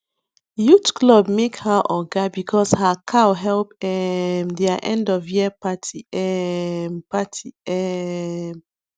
youth club make her oga because her cow help um their endofyear party um party um